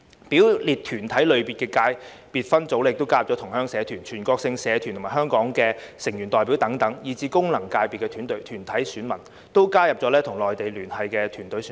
表列團體類別的界別分組，亦加入同鄉社團、全國性團體香港成員代表等，以至功能界別團體選民，都加入與內地聯繫的團體選民。